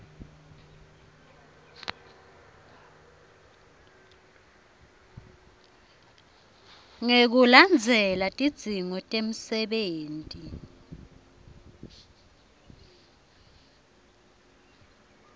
ngekulandzela tidzingo temsebenti